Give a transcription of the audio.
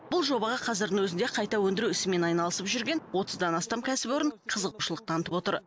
бұл жобаға қазірдің өзінде қайта өндіру ісімен айналысып жүрген отыздан астам кәсіпорын қызығушылық танытып отыр